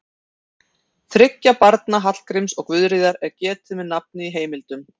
Þriggja barna Hallgríms og Guðríðar er getið með nafni í heimildum.